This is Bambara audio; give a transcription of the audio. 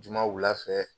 Juma wula fɛ